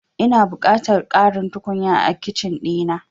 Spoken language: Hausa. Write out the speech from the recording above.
Ina buƙatar ƙarin tukunya a Kicin ɗina.